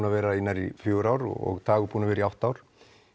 að vera í næstum fjögur ár og Dagur búinn að vera í átta ár